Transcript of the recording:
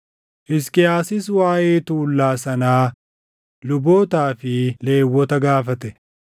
Hisqiyaasis waaʼee tuullaa sanaa lubootaa fi Lewwota gaafate;